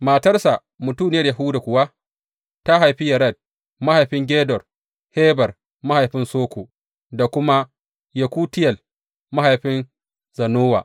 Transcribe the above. Matarsa mutuniyar Yahuda kuwa ta haifi Yared mahaifin Gedor, Heber mahaifin Soko, da kuma Yekutiyel mahaifin Zanowa.